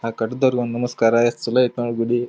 ಆಹ್ಹ್ ಕಟ್ಟಿದವರಿಗೆ ಒಂದು ನಮಸ್ಕಾರ ಎಸ್ಟ್ ಚಲೋ ಐತ್ ನೋಡ್ ಗುಡಿ.